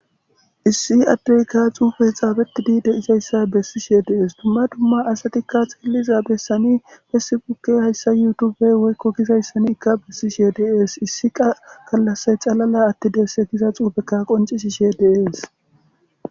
issi addeyka xuufe xaabetidi dizayssa bessishe de'ees dumma dumma asatikka xielliza bessani fessi bukke hayssa yutube woykko gizayssani ikka bessishe dees issia galase xalala attideesse giza xuufekka qoncisishe de'es